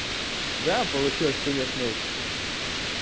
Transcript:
да получилось конечно